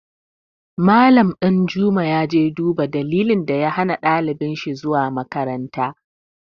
Mallam Ɗanjuma ya je ya duba dalilin da ya hana ɗalibin shi zuwa makaranta.